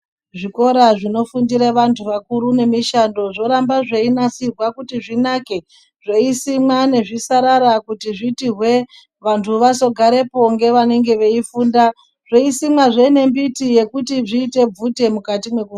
Zvikora zvinofundire vantu vakuru nemishando zvoramba zveinasirwa kuti zvinake zveisimwa nezvisarara kuti zviti hwe vantu vazogarepo ngevanenge veifunda zveisimwa zvinembiti yekuti zviite bvute mukati mweku..